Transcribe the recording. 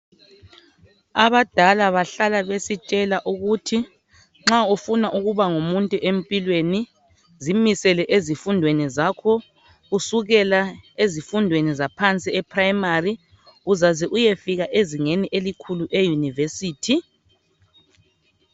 Abadala bahlala besitshela ukuthi nxa ufuna ukuba ngumuntu empilweni zimisele ezifundweni zakho kusukela ezifundweni zaphansi ePrimary uzaze uyefika ezingeni elikhulu eYunivesithi.